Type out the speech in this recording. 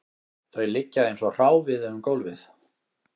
Þau liggja eins og hráviði um gólfið